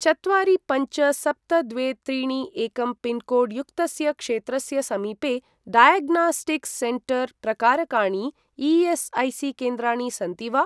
चत्वारि पञ्च सप्त द्वे त्रीणि एकं पिन्कोड् युक्तस्य क्षेत्रस्य समीपे डायग्नास्टिक्स् सेण्टर् प्रकारकाणि ई.एस्.ऐ.सी.केन्द्राणि सन्ति वा?